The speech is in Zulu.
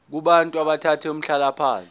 kubantu abathathe umhlalaphansi